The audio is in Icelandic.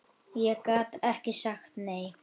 Ég gat ekki sagt nei.